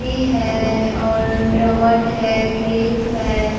भी है और रोबोट है क्लिफ है।